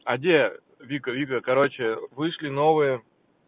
а где вика вика короче вышли новые